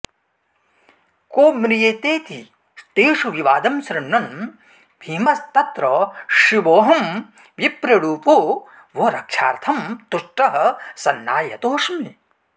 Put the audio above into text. को म्रियेतेति तेषु विवादं श्रृण्वन् भीमस्तत्र शिवोऽहं विप्ररूपो वो रक्षार्थं तुष्टः सन्नायातोऽस्मि